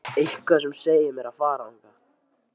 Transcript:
Eitthvað sem segir mér að fara þangað.